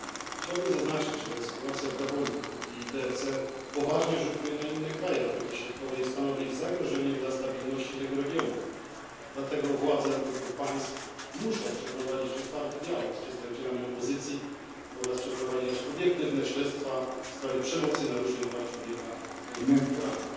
Chciałbym zaznaczyć, że sytuacja w Gabonie i DRK poważnie rzutuje na inne kraje Afryki Środkowej i stanowi zagrożenie dla stabilności tego regionu, dlatego władze obydwu państw muszą nawiązać otwarty dialog z przedstawicielami opozycji oraz przeprowadzić obiektywne śledztwa w sprawie przemocy i naruszeń praw człowieka związanych z wyborami.